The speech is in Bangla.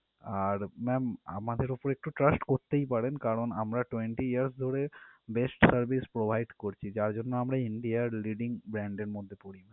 আর ma'am আমাদের উপর একটু trust করতেই পারেন কারন আমরা twenty years ধরে best service provide করছি যার জন্য আমরা India র leading brand র মধ্যে পরি ma'am